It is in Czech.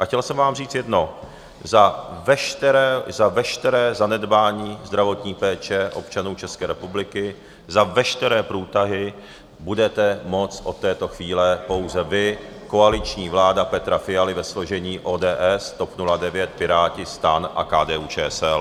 A chtěl jsem vám říct jedno: za veškeré zanedbání zdravotní péče občanů České republiky, za veškeré průtahy budete moct od této chvíle pouze vy, koaliční vláda Petra Fialy ve složení ODS, TOP 09, Piráti, STAN a KDU-ČSL.